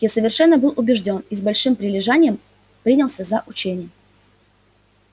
я совершенно был убеждён и с большим прилежанием принялся за учение